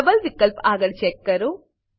double વિકલ્પ આગળ check કરો